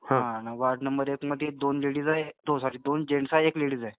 हा, ward number एक मधी दोन लेडीज आहेत सॉरी दोन जेन्ट्स आहेत एक लेडीज आहे.